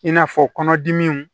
I n'a fɔ kɔnɔdimiw